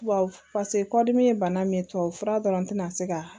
Tubabu paseke kɔdimi ye bana min ye tubabu fura dɔrɔn tɛna se ka